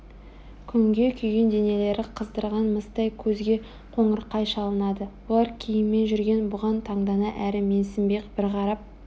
күнге күйген денелері қыздырған мыстай көзге қоңырқай шалынады олар киіммен жүрген бұған таңдана әрі менсінбей бір қарап